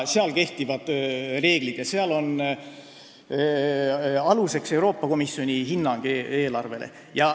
Seal kehtivad omad reeglid ja aluseks on Euroopa Komisjoni hinnang eelarvele.